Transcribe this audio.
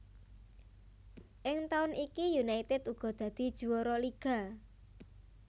Ing taun iki United uga dadi juwara liga